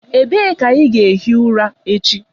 Ebee ka ị ga-ehi ụra echi?